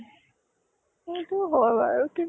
সেইতো হয় বাৰু । কিন্তু